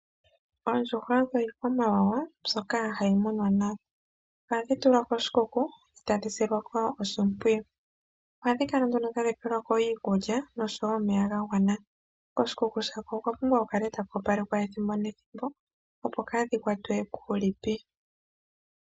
Oondjuhwa odho iikwamawawa mbyoka hayi munwa nawa. Ohadhi tulwa koshikuku eta dhi silwa ko oshipwiyu. Ohadhi kala nduno tadhi peelwa ko iikulya noshowo omeya gagwana. Koshikuku shako okwa pumbwa ku kale taku opalekwa ethimbo nethimbo opo kaadhikwatwe kuulipi.